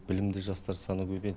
білімді жастар саны көбейеді